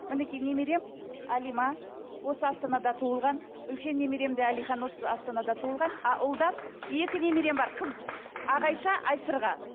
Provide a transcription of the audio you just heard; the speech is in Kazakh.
мінекей немерем әлима осы астанада туылған үлкен немерем де әлихан осы астанада туылған а ұлдан екі немерем бар қыз ағайша айсырға